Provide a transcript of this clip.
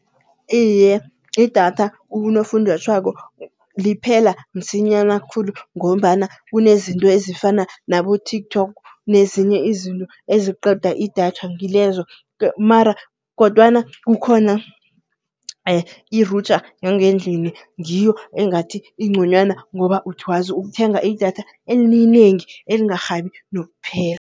Iye idatha ukunofunjathwako liphela msinyana khulu. Ngombana kunezinto ezifana nabo-TikTok nezinye izinto eziqeda idatha ngilezo. Mara, kodwana kukhona irutha yangendlini, ngiyo engathi igconywana ngoba ukwazi ukuthenga idatha elinengi elibangarhabi nokuphela.